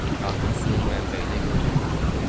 Artıq suyun mənbəyinə yol yox idi.